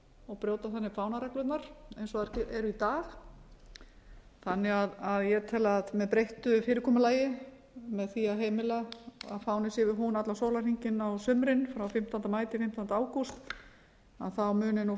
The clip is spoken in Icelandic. og brjóta þannig fánareglurnar eins og þær eru í dag þannig að ég tel að með breyttu fyrirkomulagi með því að heimila að fáninn sé við hún allan sólarhringinn á sumrin frá fimmtánda maí til fimmtánda ágúst muni